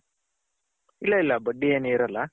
ಇಲ್ಲ ಇಲ್ಲ ಬಡ್ಡಿ ಏನು ಇರಲ್ಲ.